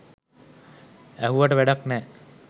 ඇහුවට වැඩක් නෑ